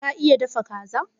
Ka iya dafa Kaza?